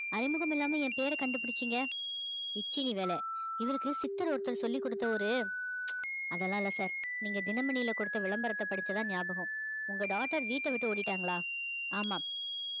அறிமுகம் இல்லாம என் பேரைக் கண்டுபிடிச்சீங்க இச்சினி வேலை இவருக்கு சித்தர் ஒருத்தர் சொல்லிக் கொடுத்த ஒரு அதெல்லாம் இல்ல sir நீங்க தினமணில கொடுத்த விளம்பரத்தை படிச்சதுதான் ஞாபகம் உங்க daughter வீட்டை விட்டு ஓடிட்டாங்களா ஆமாம்